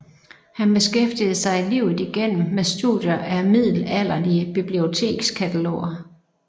Han beskæftigede sig livet igennem med studier af middelalderlige bibliotekskataloger